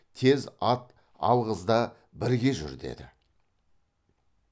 тез ат алғыз да бірге жүр деді